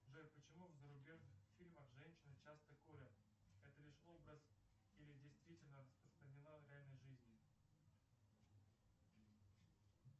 джой почему в зарубежных фильмах женщины часто курят это лишь образ или действительно распространено в реальной жизни